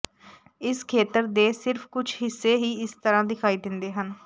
ਇਸ ਖੇਤਰ ਦੇ ਸਿਰਫ਼ ਕੁਝ ਹਿੱਸੇ ਹੀ ਇਸ ਤਰ੍ਹਾਂ ਦਿਖਾਈ ਦਿੰਦੇ ਹਨ